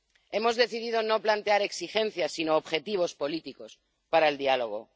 Hemos decidido no plantear exigencias, sino objetivos políticos para el diálogo.